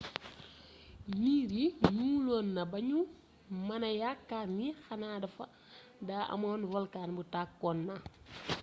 niir yi ñuuloon nañu ba ñu mëna yaakaar ni xanaa daa amoon volkan bu tàkkoon na